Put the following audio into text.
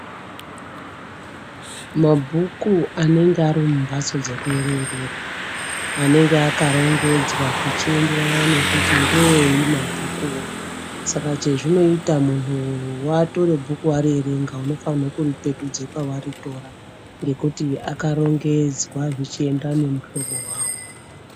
Mabhuku anenge ari mumbatso dzekuerengera anenga akarongedzwa zvichienderana nekuti ngeeyi mabhukuvo. Saka chazvinoita muntu vatore bhuku varierenga unofanhire kuripetudze pavari tora. Ngekuti akarongedzwa zvechienderana nemuhlobo vavo.